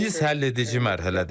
Biz həlledici mərhələdəyik.